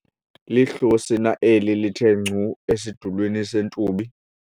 lihlosi na eli lithe ngcu esidulini seentubi?